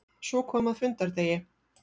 Svo kom að fundardegi.